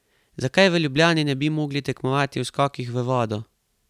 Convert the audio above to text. Zakaj v Ljubljani ne bi mogli tekmovati v skokih v vodo?